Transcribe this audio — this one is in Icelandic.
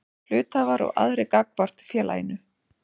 Hluthafar og aðrir gagnvart félaginu.